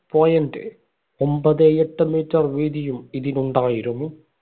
point ഒമ്പതേ എട്ട് meter വീതിയും ഇതിനുണ്ടായിരുന്നു.